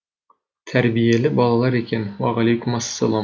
тәрбиелі балалар екен уағалейкум ассалам